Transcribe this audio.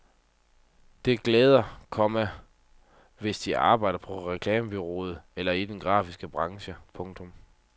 Det gælder, komma hvis de arbejder på reklamebureau eller i den grafiske branche. punktum